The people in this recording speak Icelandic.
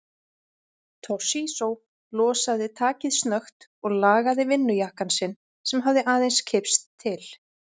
Toshizo losaði takið snögt og lagaði vinnujakkann sinn sem hafði aðeins kipst til.